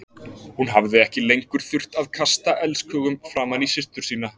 Hún hafði ekki lengur þurft að kasta elskhugum framan í systur sína.